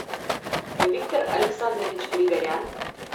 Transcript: виктор александрович григорян